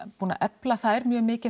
búin að efla þær mjög mikið